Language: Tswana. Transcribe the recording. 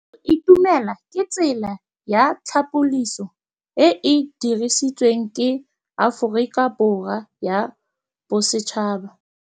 Go itumela ke tsela ya tlhapolisô e e dirisitsweng ke Aforika Borwa ya Bosetšhaba.